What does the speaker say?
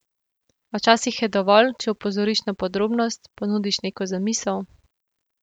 A včasih je dovolj, če opozoriš na podrobnost, ponudiš neko zamisel ...